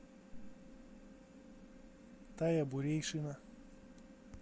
тая бурейшина